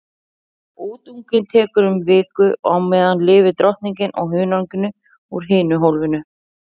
Útungunin tekur um viku og á meðan lifir drottningin á hunanginu úr hinu hólfinu.